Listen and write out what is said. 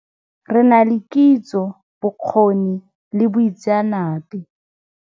Re na le kitso, bokgoni le boitseanape.